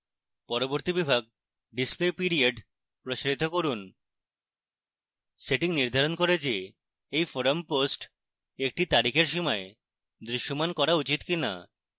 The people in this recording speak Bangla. পরবর্তী বিভাগ display period প্রসারিত করুন